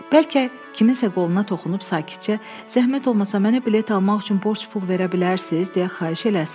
Bəlkə kiminsə qoluna toxunub sakitcə, zəhmət olmasa mənə bilet almaq üçün borc pul verə bilərsiz deyə xahiş eləsin.